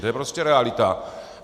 To je prostě realita.